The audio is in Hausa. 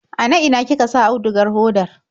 Ana ina kika sa audugar hodar?